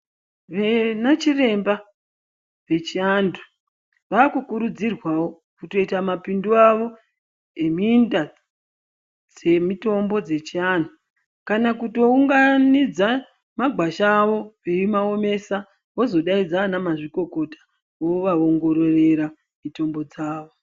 Vanachiremba vechiantu vaakukurudzirwawo kutoita mapindu avo eminda dzemitombo dzechiantu kana kutounganidza magwasha avo veimaomesa vozodaidza anamazvikokota vovaongorera mitombo dzavo.